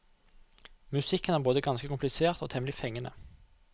Musikken er både ganske komplisert og temmelig fengende.